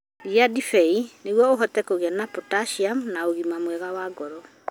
Iria ndibei nĩguo ũhote kũgĩa na potassium na ũgima mwega wa ngoro.